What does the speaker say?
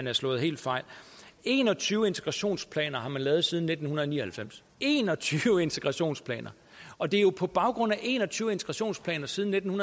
har slået helt fejl en og tyve integrationsplaner har man lavet siden nitten ni og halvfems en og tyve integrationsplaner og det er jo på baggrund af en og tyve integrationsplaner siden nitten